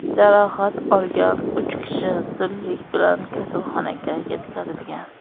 Jarohat olgan uch kishi zudlik bilan kasalxonaga yetkazilgan.